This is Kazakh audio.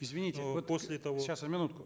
извините но после того сейчас минутку